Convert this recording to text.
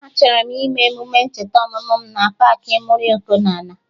Achọrọ m ime emume ncheta ọmụmụ mụ na paakị Muri Ọkụnola